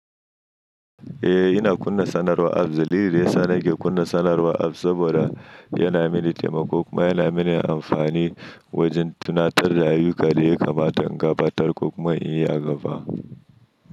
Eh, ina kunna sanarwa apps. Dalili da ya sa nake kunna sanarwa apps saboda yana mini taimako kuma yana mini amfani wajen tunatar da ayyuka da yake kamata in gabatar ko kuma in yi a gaba.